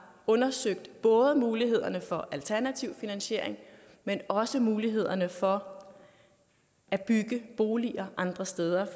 undersøgt både mulighederne for alternativ finansiering men også mulighederne for at bygge boliger andre steder